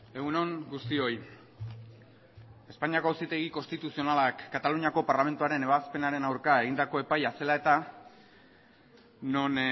egun on guztioi espainiako auzitegi konstituzionalak kataluniako parlamentuaren ebazpenaren aurka egindako epaia zela eta non